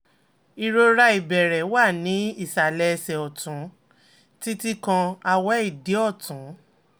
ìrora ìbẹ̀rẹ̀ wà ní ìsàlẹ̀ ẹsẹ̀ ọ̀tún títí kan awe idi ọ̀tún